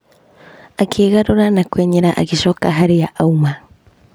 Akĩgarũra na kũenyera agĩcoka harĩa auma.